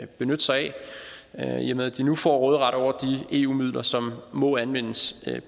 benytte sig af i og med at de nu får råderet over de eu midler som må anvendes